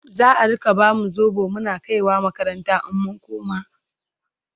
za'a Rika bamu sobo Muna kaiwa makaranta in mun koma?